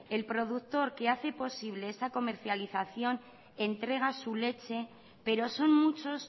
el productor que hace posible esa comercialización entrega su leche pero son muchos